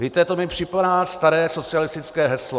Víte, to mi připomíná staré socialistické heslo.